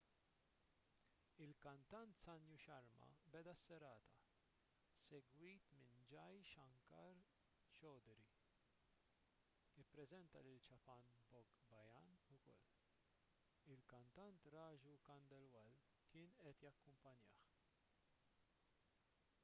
il-kantant sanju sharma beda s-serata segwit minn jai shankar choudhary ippreżenta lil chhappan bhog bhajan ukoll il-kantant raju khandelwal kien qed jakkumpanjah